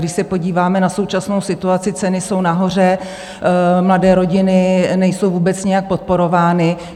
Když se podíváme na současnou situaci, ceny jsou nahoře, mladé rodiny nejsou vůbec nějak podporovány.